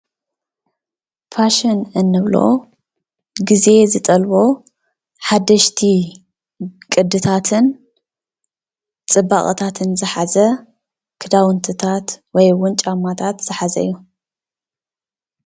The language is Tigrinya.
ፋሽን እንብሎ ጊዜ ዝጠልቦ ሓደሽቲ ቅድታትን ፅባቐታትን ዝሓዘ ክዳውንትታት ወይ እውን ጫማታት ዝሓዘ እዩ፡፡